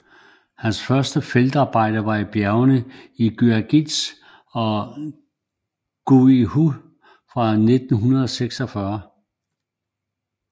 Hans første feltarbejder var i bjergene i Guangxi og Guizhou fra 1946